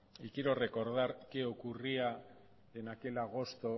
y quiero recordar qué ocurría en aquel agosto